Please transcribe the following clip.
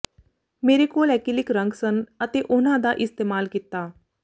ਮੇਰੇ ਕੋਲ ਐਕਿਲਿਕ ਰੰਗ ਸਨ ਅਤੇ ਉਹਨਾਂ ਦਾ ਇਸਤੇਮਾਲ ਕੀਤਾ